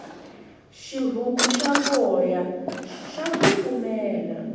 xihuku xa voya xa kufumela